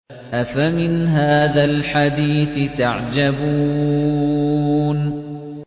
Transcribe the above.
أَفَمِنْ هَٰذَا الْحَدِيثِ تَعْجَبُونَ